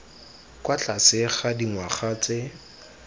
kwa tlase ga dingwaga tse